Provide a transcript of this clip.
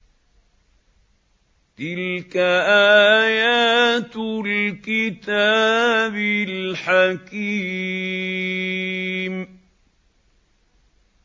تِلْكَ آيَاتُ الْكِتَابِ الْحَكِيمِ